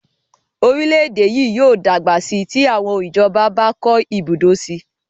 Orílẹ̀-èdè yìí yóò dàgbà síi tí àwọn ìjọba bá kọ́ ibùdó síi